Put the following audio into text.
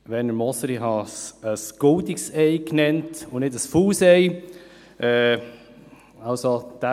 Werner Moser, ich habe es ein «goldenes Ei» genannt und nicht ein «faules Ei».